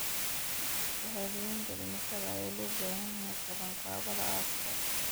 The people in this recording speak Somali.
Shahaadooyinka dhimashada ayaa loo baahan yahay qabanqaabada aaska.